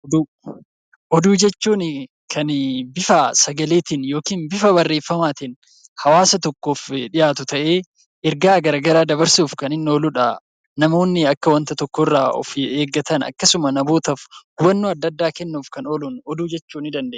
Oduu Oduu jechuun kan bifa sagaleetiin yookiin bifa barreeffamaatiin hawaasa tokkoof dhiyaatu ta'ee ergaa garagaraa dabarsuuf kan inni oolu dha. Namoonni akka wanta tokkorraa of eeggatan akkasuma namootaaf hubannoo adda addaa kennuuf kan ooluun oduu jechuu ni dandeenya.